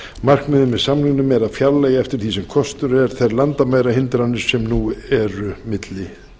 markmiðið með samningnum er að fjarlægja eftir því sem kostur er þær landamærahindranir sem nú eru milli